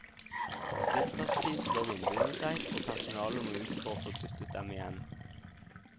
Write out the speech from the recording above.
Vinterstid slår vinduene seg, og personalet må ut for å få dyttet dem igjen.